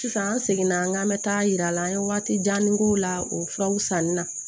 Sisan an seginna an ka an bɛ taa yira la an ye waati janni k'o la o furaw sanni na